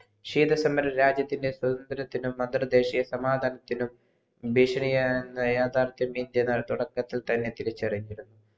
ഖീത്ത സമരം രാജ്യത്തിൻ്റെ സ്വന്തന്ത്രത്തിനും അന്തർദേശിയ സമാദാനത്തിനും ഇന്ത്യ തുടക്കത്തിൽ തിരിച്ചറിഞ്ഞിരുന്നു